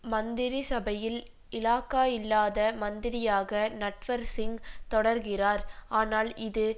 மந்திரி சபையில் இலாக்கா இல்லாத மந்திரியாக நட்வர் சிங் தொடர்கிறார் ஆனால் இது